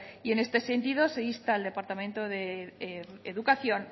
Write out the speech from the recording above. y en este sentido se insta al departamento de educación